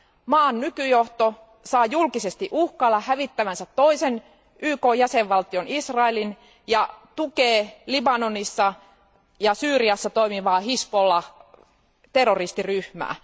Maan nykyjohto saa julkisesti uhkailla hävittävänsä toisen YKn jäsenvaltion, Israelin, ja tukee Libanonissa ja Syyriassa toimivaa Hizbollah terroristiryhmää.